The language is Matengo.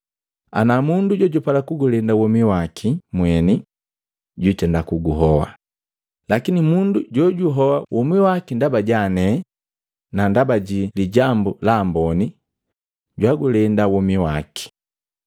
Anaa mundu jojupala kugulenda womi waki mweni, jwiitenda kuguhoa, lakini mundu jojuhoa womi waki ndaba jami ne na ndaba ji Lijambu la Amboni, jwagulenda womi waki.